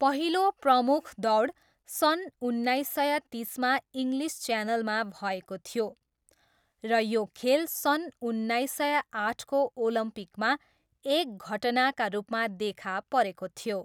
पहिलो प्रमुख दौड सन् उन्नाइस सय तिसमा इङ्लिस च्यानलमा भएको थियो र यो खेल सन् उन्नाइस सय आठको ओलम्पिकमा एक घटनाका रूपमा देखा परेको थियो।